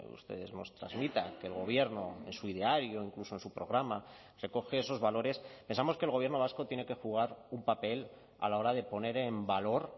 ustedes nos trasmitan que el gobierno en su ideario incluso en su programa recoge esos valores pensamos que el gobierno vasco tiene que jugar un papel a la hora de poner en valor